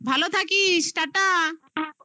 ভালো থাকিস tata